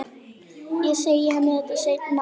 Ég segi henni þetta seinna.